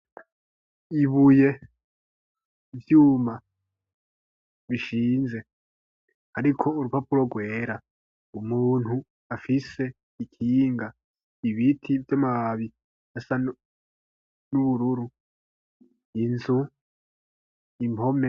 Ibuye ivyuma bishinze ariko urupapuro rwera umuntu afise ikinga ibiti vy'amababi asa n'ubururu inzu impome.